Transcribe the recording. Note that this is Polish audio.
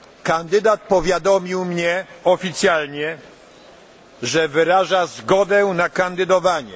Kandydat powiadomił mnie oficjalnie, że wyraża zgodę na kandydowanie.